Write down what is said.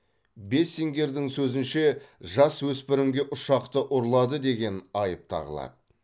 бессингердің сөзінше жасөспірімге ұшақты ұрлады деген айып тағылады